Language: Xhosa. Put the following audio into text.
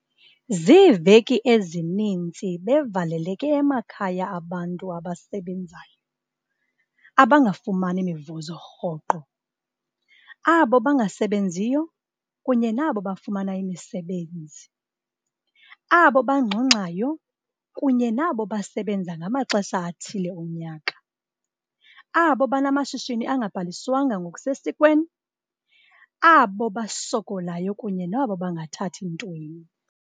Ziveki ezininzi bevaleleke emakhaya abantu abasebenzayo abangafumani mivuzo rhoqo, abo bangasebenziyo kunye nabo bafuna imisebenzi, abo bangxungxayo kunye nabo basebenza ngamaxesha athile onyaka, abo banamashishini angabhaliswanga ngokusesikweni, abo basokalayo kunye nabo bangathathi ntweni.